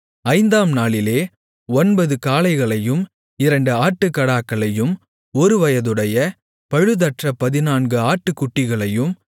ஐந்தாம் நாளிலே ஒன்பது காளைகளையும் இரண்டு ஆட்டுக்கடாக்களையும் ஒருவயதுடைய பழுதற்ற பதினான்கு ஆட்டுக்குட்டிகளையும்